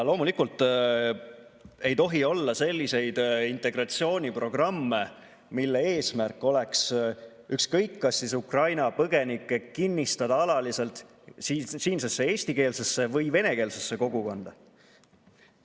Loomulikult ei tohi olla selliseid integratsiooniprogramme, mille eesmärk oleks Ukraina põgenikke alaliselt kinnistada ükskõik kas siinsesse eestikeelsesse või venekeelsesse kogukonda.